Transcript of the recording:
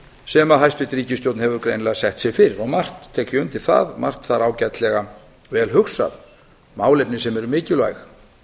sem hæstvirt ríkisstjórn hefur greinilega sett sér fyrir og margt tek ég undir það margt þar ágætlega vel hugsað málefni sem eru mikilvæg